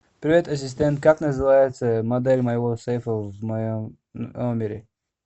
привет ассистент как называется модель моего сейфа в моем номере